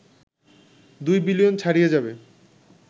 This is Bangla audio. ২ বিলিয়ন ছাড়িয়ে যাবে